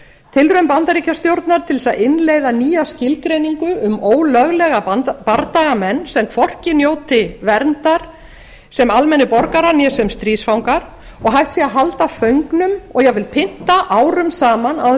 tilraun bandaríkjastjórnar til þess að innleiða nýja skilgreiningu um ólöglega bardagamenn sem hvorki njóti verndar sem almennir borgarar né sem stríðsfangar og hægt sé að halda föngnum og jafnvel pynda árum saman án þess að það